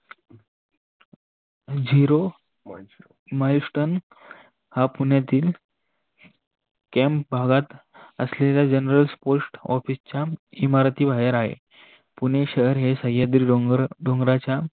Zero Milestone हा पुण्यातील केम भागात असलेला General post office च्या इमारती बाहेर आहे. पुणे शहर सह्याद्री डोंगराच्या